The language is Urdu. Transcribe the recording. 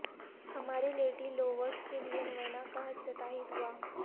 ہماری لیڈی لوورس کے لئے نوینا کا افتتاحی دعا